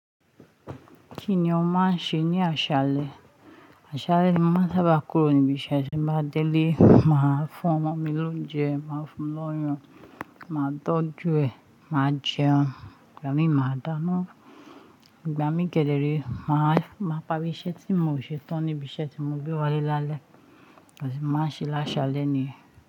Kí ni ó máa ń ṣe ní aṣálẹ́? Aṣálẹ́ ni mo máa ń sábà kúrò níbi iṣẹ́. Tí n bá dé ilé, màá fún ọmọ mi lóúnjẹ, màá fún un lóyan, màá tọ́jú ẹ, màá jẹun, ìgbà míì màá dáná. Ìgbà míì kédérèe, màá, màá parí iṣẹ́ tí mio ṣe tán níbi iṣẹ́ tí mo gbé wá lé lálẹ́. Moṣẹ̀ máa ń ṣe láṣálẹ́ ni yen.